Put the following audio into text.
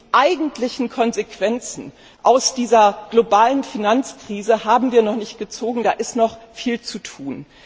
Die eigentlichen Konsequenzen aus dieser globalen Finanzkrise haben wir noch nicht gezogen, da ist noch viel zu tun.